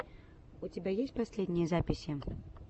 у тебя есть последние записи